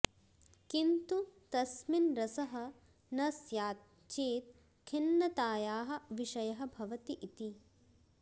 किन्तु तस्मिन् रसः न स्यात् चेत् खिन्नतायाः विषयः भवति इति